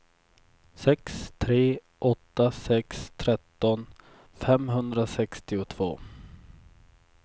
sex tre åtta sex tretton femhundrasextiotvå